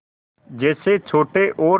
जैसे छोटे और